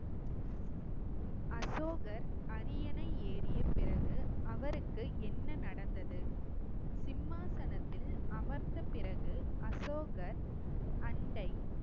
அசோகர் அரியணை ஏறிய பிறகு அவருக்கு என்ன நடந்தது. சிம்மாசனத்தில் அமர்ந்த பிறகு அசோகர் அண்டை